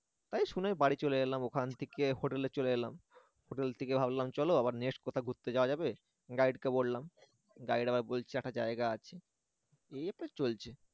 তাই শুনে বাড়ি চলে এলাম ওখান থেকে হোটেলে চলে এলাম হোটেল থেকে ভাবলাম চলো আবার next কোথাও ঘুরতে যাওয়া যাবে guide কে বললাম guide আমায় বলছে একটা জায়গা আছে। এভাবে চলছে